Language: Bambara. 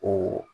O